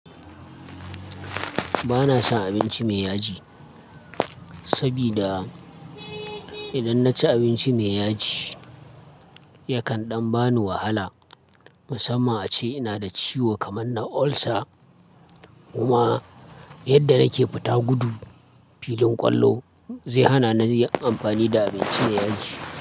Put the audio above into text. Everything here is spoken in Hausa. Ba na son abinci mai yaji, saboda idan na ci abinci mai yaji yakan ɗan bani wahala. Musamman ace ina da ciwo kamar na ulcer, kuma yadda nake fita gudu filin ƙwallo zai hana ni yin amfani da abinci mai yaji.